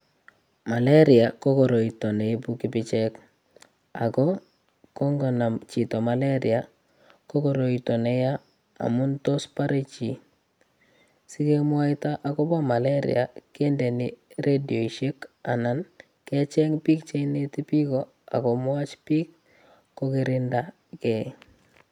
Maleria ko koroito neibu kipicheek ago ko ingonamchito maleria ko koroito neya amun tos bore chi. Sigemwoito agobo maleria kindeni radioisiek anan kecheng biik che ineti biiko ak komwachi biik kokirinda gei.